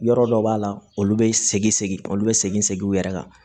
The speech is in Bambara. Yɔrɔ dɔ b'a la olu bɛ segin segin olu bɛ segin segin u yɛrɛ kan